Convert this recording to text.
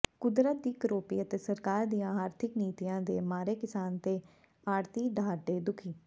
ਕੁਦਰਤ ਦੀ ਕਰੋਪੀ ਅਤੇ ਸਰਕਾਰ ਦੀਆਂ ਆਰਥਿਕ ਨੀਤੀਆਂ ਦੇ ਮਾਰੇ ਕਿਸਾਨ ਤੇ ਆੜ੍ਹਤੀ ਡਾਹਢੇ ਦੁਖੀ